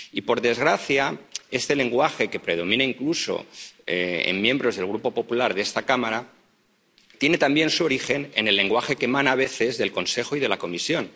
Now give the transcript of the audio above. Y, por desgracia, este lenguaje, que predomina incluso en miembros del Grupo popular de esta Cámara, tiene también su origen en el lenguaje que emana a veces del Consejo y de la Comisión.